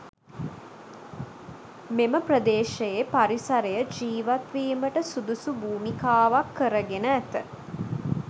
මෙම ප්‍රදේශයේ පරිසරය ජීවත් වීමට සුදුසු භූමිකාවක් කරගෙන ඇත.